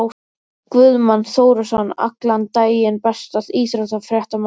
Guðmann Þórisson allan daginn Besti íþróttafréttamaðurinn?